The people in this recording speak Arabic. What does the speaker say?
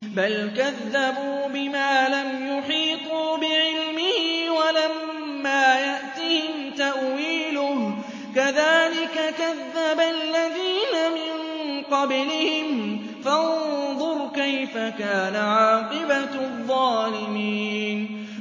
بَلْ كَذَّبُوا بِمَا لَمْ يُحِيطُوا بِعِلْمِهِ وَلَمَّا يَأْتِهِمْ تَأْوِيلُهُ ۚ كَذَٰلِكَ كَذَّبَ الَّذِينَ مِن قَبْلِهِمْ ۖ فَانظُرْ كَيْفَ كَانَ عَاقِبَةُ الظَّالِمِينَ